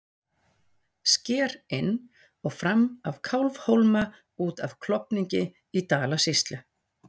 sker inn og fram af kálfhólma út af klofningi í dalasýslu